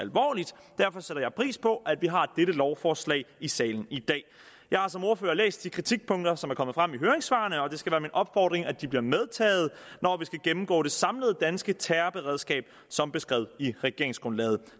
derfor sætter jeg pris på at vi har dette lovforslag i salen i dag jeg har som ordfører læst de kritikpunkter som er kommet frem i høringssvarene og det skal være min opfordring at de bliver medtaget når vi skal gennemgå det samlede danske terrorberedskab som beskrevet i regeringsgrundlaget